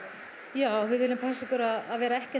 já við viljum passa okkur að vera ekki að